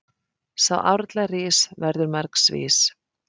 Sá árla rís verður margs vís.